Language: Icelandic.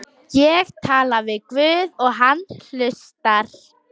Ég tala við guð og hann hlustar.